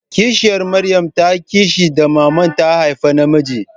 Kishiyar Maryam tana kishi da mama ta haifa namijin.